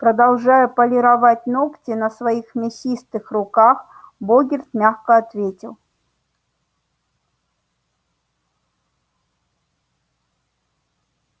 продолжая полировать ногти на своих мясистых руках богерт мягко ответил